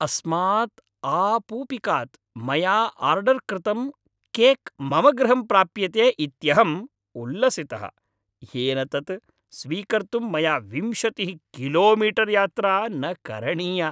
अस्मात् आपूपिकात् मया आर्डर् कृतं केक् मम गृहं प्राप्यते इत्यहम् उल्लसितः, येन तत् स्वीकर्तुं मया विंशतिः किलोमीटर् यात्रा न करणीया।